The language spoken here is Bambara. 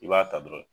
I b'a ta dɔrɔn